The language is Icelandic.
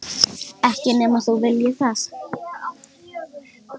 Ekki nema þú viljir það.